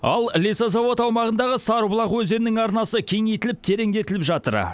ал лесозавод аумағындағы сарыбұлақ өзенінің арнасы кеңейтіліп тереңдетіліп жатыр